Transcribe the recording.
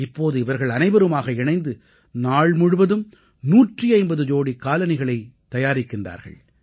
இப்போது இவர்கள் அனைவருமாக இணைந்து நாள் முழுவதும் 150 ஜோடிக் காலணிகளைத் தயாரிக்கிறார்கள்